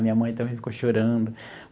Minha mãe também ficou chorando.